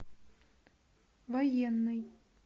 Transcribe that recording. военный